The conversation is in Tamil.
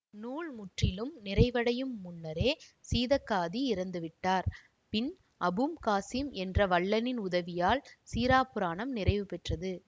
நூல் முற்றிலும் நிறைவடையும் முன்னரே சீதக்காதி இறந்து விட்டார் பின் அபும் காசிம் என்ற வள்ளலின் உதவியால் சீறாப்புராணம் நிறைவு பெற்றது